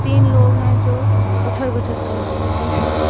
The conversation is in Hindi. तीन लोग हैं जो उठक बैठक कर रहे हैं।